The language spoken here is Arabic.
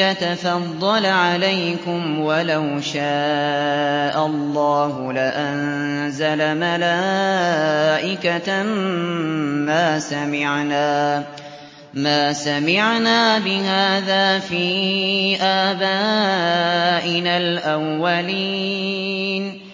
يَتَفَضَّلَ عَلَيْكُمْ وَلَوْ شَاءَ اللَّهُ لَأَنزَلَ مَلَائِكَةً مَّا سَمِعْنَا بِهَٰذَا فِي آبَائِنَا الْأَوَّلِينَ